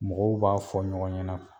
Mɔgɔw b'a fɔ ɲɔgɔn ɲɛna